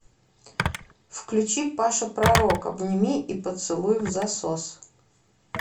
включи паша пророк обними и поцелуй взасос